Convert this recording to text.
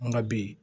An ka bi